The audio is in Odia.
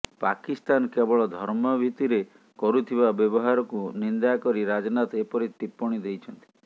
ପାକିସ୍ତାନ କେବଳ ଧର୍ମଭିତିରେ କରୁଥିବା ବ୍ୟବହାରକୁ ନିନ୍ଦା କରି ରାଜନାଥ ଏପରି ଟିପ୍ପଣୀ ଦେଇଛନ୍ତି